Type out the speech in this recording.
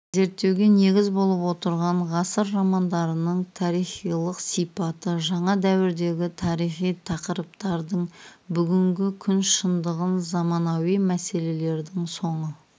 зерттеуге негіз болып отырған ғасыр романдарының тарихилық сипаты жаңа дәуірдегі тарихи тақырыптардың бүгінгі күн шындығын заманауи мәселелелердің соны